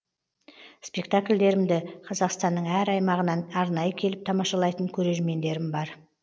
спектакльдерімді қазақстанның әр аймағынан арнайы келіп тамашалайтын көрермендерім бар